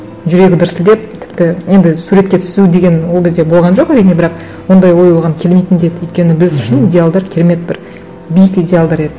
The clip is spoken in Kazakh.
жүрегі дүрсілдеп тіпті енді суретке түсу деген ол кезде болған жоқ әрине бірақ ондай ой оған келмейтін де еді өйткені біз үшін идеалдар керемет бір биік идеалдар еді